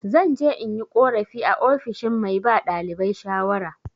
Zan je in yi korafi a ofishin mai ba ɗalibai shawara.